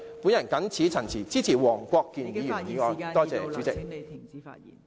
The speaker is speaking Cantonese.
我謹此陳辭，支持黃國健議員的議案。